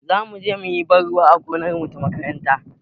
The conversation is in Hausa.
Zamu je muyi ban ruwa a gonarmu ta makaranta